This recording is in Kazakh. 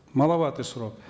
маловатый срок